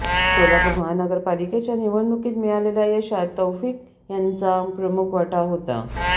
सोलापूर महानगरपालिकेच्या निवडणुकीत मिळालेल्या यशात तौफीक यांचा प्रमुख वाटा होता